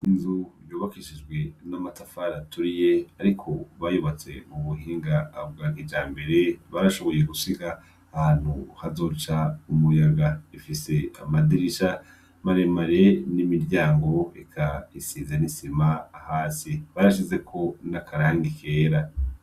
Inzu yubakishijwe n'amatafari aturiye ariko bayubatse mu buhinga bwakijambere. Barashoboye gusiga ahantu hazoca umuyaga; ifise amadirisha maremare n'imiryango eka isize n'isima. Hasi barashizeko n'akarangi kera.